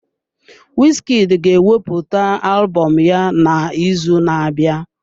Wizkid ga-ewepụta alụbọm ya n'izu na-abịa.